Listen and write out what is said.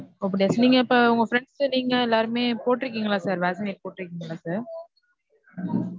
ஓ அப்டியா sir அப்ப நீங்க உங்க friends நீங்க எல்லாருமே போட்ருக்கீங்களா sir vaccinate போட்டிருக்கீங்களா sir?